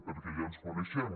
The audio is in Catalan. perquè ja ens coneixem